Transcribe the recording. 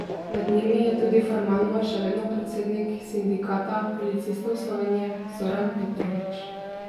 Med njimi je tudi formalno še vedno predsednik Sindikata policistov Slovenije Zoran Petrovič.